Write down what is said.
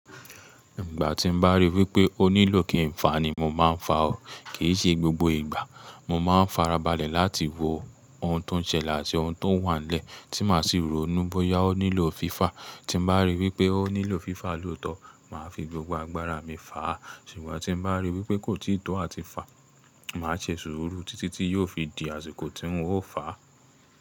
Ìgbà tí mo bá rí wí pé ó nílò kí ń fàá ni mo máa ń fà á, kì í ṣe gbogbo ìgbà. Mo máa ń farabalẹ̀ láti wo ohun tó ń ṣẹlẹ̀ àti ohun tó wà nílẹ̀ tí máa sì rò ó ní bóyá ó nílò fífà Tí mo bá rí wí pé ó nílò fifa lóòótọ́, màá fi gbogbo agbára mi fà á, ṣùgbọ́n tí mo bá rí wí pé kò tíì tó àti fà á, màá ṣe sùúrù títí tí yóò fi dì àsìkò tí ń ó fà á.